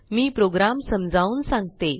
मी program समजावून सांगते